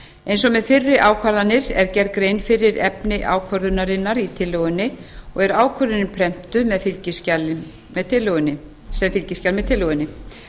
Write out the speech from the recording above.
eins og með fyrri ákvarðanir er gerð grein fyrir efni ákvörðunarinnar í tillögunni og er ákvörðunin prentuð sem fylgiskjal með tillögunni